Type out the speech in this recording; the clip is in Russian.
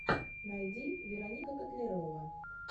найди вероника котлярова